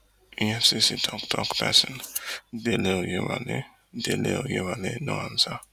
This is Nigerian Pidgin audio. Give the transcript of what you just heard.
efcc toktok pesin dele oyewale dele oyewale no answer